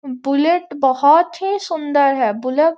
bullet बहुत ही सुंदर है बुलेट --